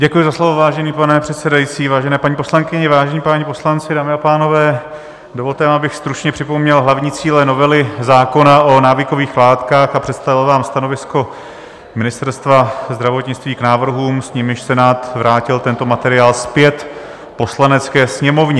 Děkuji za slovo, vážený pane předsedající, vážené paní poslankyně, vážení páni poslanci, dámy a pánové, dovolte mi, abych stručně připomněl hlavní cíle novely zákona o návykových látkách a představil vám stanovisko Ministerstva zdravotnictví k návrhům, s nimiž Senát vrátil tento materiál zpět Poslanecké sněmovně.